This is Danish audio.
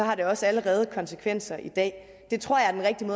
har det også allerede konsekvenser i dag det tror jeg er den